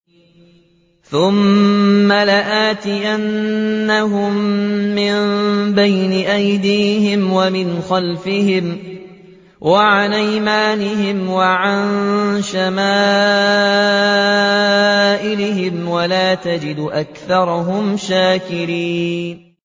ثُمَّ لَآتِيَنَّهُم مِّن بَيْنِ أَيْدِيهِمْ وَمِنْ خَلْفِهِمْ وَعَنْ أَيْمَانِهِمْ وَعَن شَمَائِلِهِمْ ۖ وَلَا تَجِدُ أَكْثَرَهُمْ شَاكِرِينَ